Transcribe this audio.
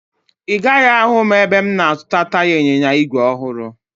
Ị gaghị ahụ m ebe m na-azụta taya ịnyịnya igwe ọhụrụ